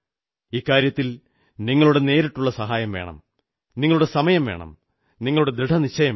ഇക്കാര്യത്തിൽ നിങ്ങളുടെ നേരിട്ടുള്ള സഹായംവേണം നിങ്ങളുടെ സമയം വേണം നിങ്ങളുടെ ദൃഢനിശ്ചയം വേണം